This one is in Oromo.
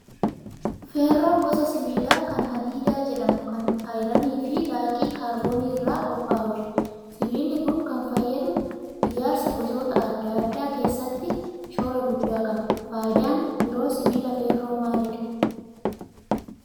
Feerroon gosa sibiilaa kan hadiida jedhamu kan ayiranii fi laaqii kaarboonii irraa qophaa'udha. Sibiilli kun kan fayyadu ijaarsa gosoota adda addaa keessatti shoora guddaa qaba. Fayidaaleen biroo sibiila feerroo maalidhaa?